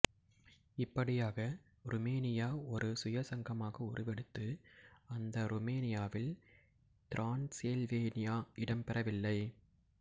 இப்படியாக ருமேனியா ஒரு சுயசங்கமாக உருவெடுத்தது அந்த ருமேனியாவில் திரான்சில்வேனியா இடம்பெறவில்லை